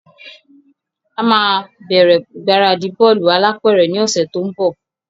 A máa bẹ́rẹ́ ìgbáradì bọ́lù alápẹ̀rẹ̀ ni òsẹ̀ to n bò